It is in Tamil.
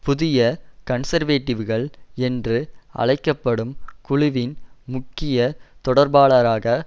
புதிய கன்சர்வேடிவ்கள் என்று அழைக்கப்டும் குழுவின் முக்கிய தொடர்பாளராக